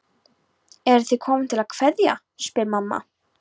Eruð þið komin til að kveðja, spyr mamma.